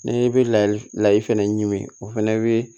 N'i bɛ layi lahi fɛnɛ ɲimi o fɛnɛ bɛ